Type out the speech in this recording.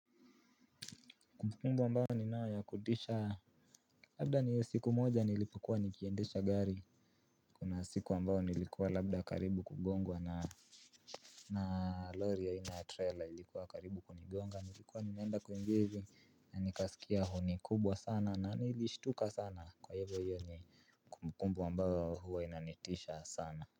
Kumbukumbu ambao ni nao ya kutisha labda ni siku moja nilipokuwa nikiendesha gari. Kuna siku ambao nilikuwa labda karibu kugongwa na na lori ya aina trailer ilikuwa karibu kunigonga. Nilikuwa ninaenda kuingi hivi na nikasikia huni kubwa sana. Na nilishtuka sana kwa hivyo yoni kumbukumbu ambao huwa inanitisha sana.